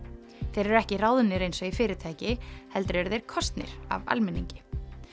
þeir eru ekki ráðnir eins og í fyrirtæki heldur eru þeir kosnir af almenningi